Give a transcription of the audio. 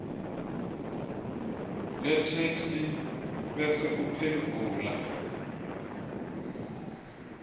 letheksthi bese uphendvula